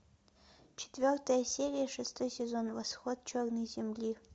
четвертая серия шестой сезон восход черной земли